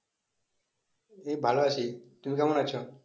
এই ভালো আছি, তুমি কেমন আছ?